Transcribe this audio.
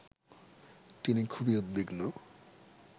তিনি খুবই উদ্বিগ্ন